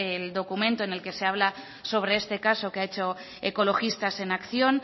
el documento en el que se habla de este caso que ha hecho ecologistas en acción